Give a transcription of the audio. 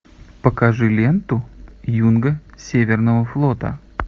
покажи ленту юнга северного флота